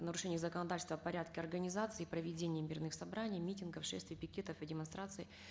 нарушения законодательства в порядке организации и проведения мирных собраний митингов шествий пикетов и демонстраций